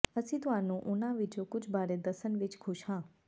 ਅਸੀਂ ਤੁਹਾਨੂੰ ਉਨ੍ਹਾਂ ਵਿੱਚੋਂ ਕੁਝ ਬਾਰੇ ਦੱਸਣ ਵਿਚ ਖੁਸ਼ ਹਾਂ